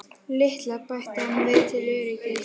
LITLA, bætti hann við til öryggis.